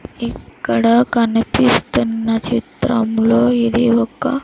ఇక్కడ కనిపిస్తున్న చిత్రంలో ఇది ఒక--